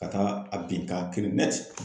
Ka taa a bin ka kirin